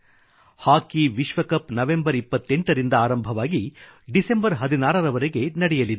ಹಾಕಿ ವಿಶ್ವ cup November 28 ರಿಂದ ಆರಂಭವಾಗಿ ಡಿಸೆಂಬರ್ 16 ರವರೆಗೆ ನಡೆಯಲಿದೆ